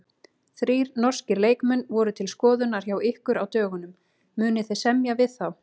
Þrír norskir leikmenn voru til skoðunar hjá ykkur á dögunum, munið þið semja við þá?